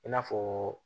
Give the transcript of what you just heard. I n'a fɔ